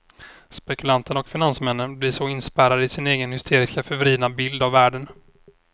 Spekulanterna och finansmännen blir så inspärrade i sin egen hysteriskt förvridna bild av världen.